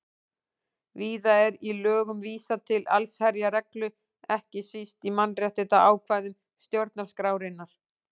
Víða er í lögum vísað til allsherjarreglu, ekki síst í mannréttindaákvæðum stjórnarskrárinnar.